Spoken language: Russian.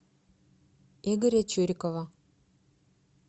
игоря чурикова